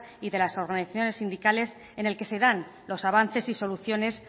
y de las organizaciones sindicales en el que se dan los avances y soluciones